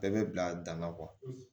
Bɛɛ bɛ bila dama kɔ